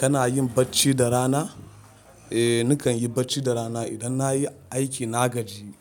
Kana yin bacci da rana? Eh, nakan yi bacci da rana idan na yi aiki na gaji,